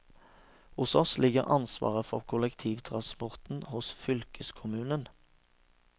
Hos oss ligger ansvaret for kollektivtransporten hos fylkeskommunen.